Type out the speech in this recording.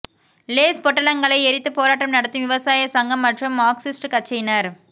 lace பொட்டலங்களை எரித்து போராட்டம் நடத்தும் விவசாய சங்கம் மற்றும் மார்க்சிஸ்ட் கட்சியினர்